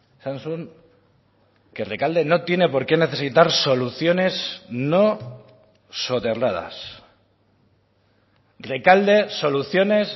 esan zuen que rekalde no tiene por qué necesitar soluciones no soterradas rekalde soluciones